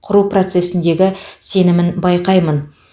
құру процесіндегі сенімін байқаймын